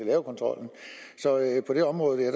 lave kontrollen så på det område